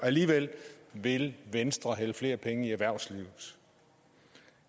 alligevel vil venstre hælde flere penge i erhvervslivet